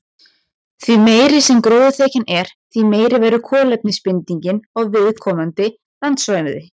Því meiri sem gróðurþekjan er, því meiri verður kolefnisbindingin á viðkomandi landsvæði.